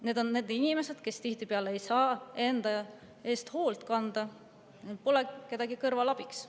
Need on inimesed, kes tihtipeale ei saa enda eest hoolitsemisega, neil pole kedagi kõrval abiks.